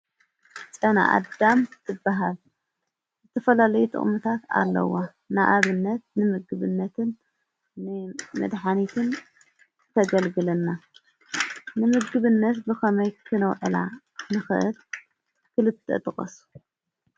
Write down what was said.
ጨና ኣዳም ዝበሃል ዝተፈላለዩ ጥቅምታት ኣለዎ። ንኣብነት ንምግብነት መድሓኒትን ዘገልግለና። ንምግብነት ብከመይ ክነውዕላ ንክእል ክልተ ጥቀስ ?